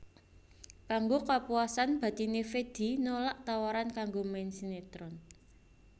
Kanggo kapuasan batiné Fedi nolak tawaran kanggo main sinetron